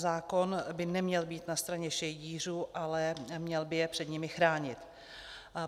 Zákon by neměl být na straně šejdířů, ale měl by je před nimi chránit.